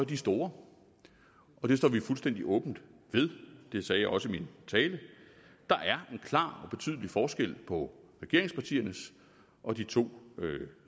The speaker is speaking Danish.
de store og det står vi fuldstændig åbent ved det sagde jeg også i min tale der er en klar og betydelig forskel på regeringspartiernes og de to